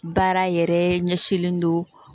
Baara yɛrɛ ɲɛsinlen don